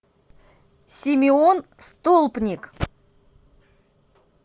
симеон столпник